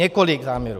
Několik záměrů.